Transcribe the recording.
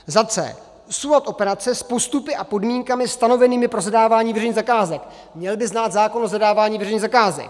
c) soulad operace s postupy a podmínkami stanovenými pro zadávání veřejných zakázek - měl by znát zákon o zadávání veřejných zakázek,